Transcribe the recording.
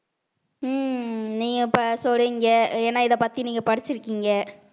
ஹம் நீங்க இப்ப சொல்றிங்க ஏன்னா இதைப் பத்தி நீங்க படிச்சிருக்கீங்க